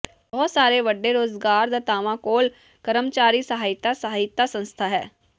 ਬਹੁਤ ਸਾਰੇ ਵੱਡੇ ਰੁਜ਼ਗਾਰਦਾਤਾਵਾਂ ਕੋਲ ਕਰਮਚਾਰੀ ਸਹਾਇਤਾ ਸਹਾਇਤਾ ਸੰਸਥਾ ਹੈ